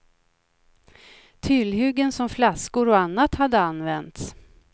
Tillhyggen som flaskor och annat hade använts.